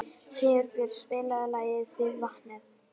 Sigurbjörg, spilaðu lagið „Við vatnið“.